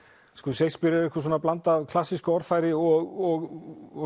Shakespeare er einhver blanda af klassísku orðfæri og